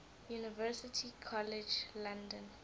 university college london